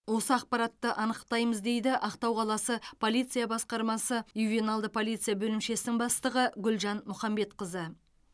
осы ақпаратты анықтаймыз дейді ақтау қаласы полиция басқармасы ювеналды полиция бөлімшесінің бастығы гүлжан мұхамбетқызы